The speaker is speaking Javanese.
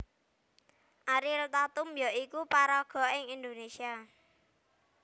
Ariel Tatum ya iku paraga ing Indonésia